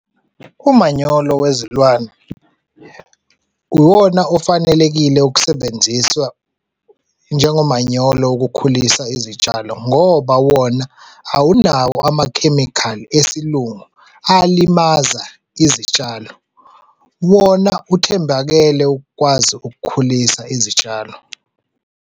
Umanyolo wezilwane uwona ofanelekile ukusebenziswa njengomanyolo wokukhulisa izitshalo ngoba wona awunawo amakhemikhali esilungu alimaza izitshalo, wona ithembakele ukwazi ukukhulisa izitshalo.